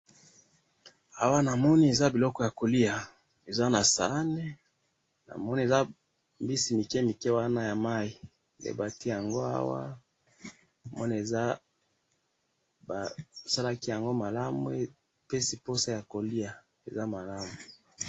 awa namoni eza biloko ya kolia eza na saani namoni eza mbisi mike mike wana ya mayi nde batia yango awa namoni basalaki yango malamu epesi posa ya ko lia, eza malamu